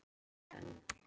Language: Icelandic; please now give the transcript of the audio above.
Og er gert enn.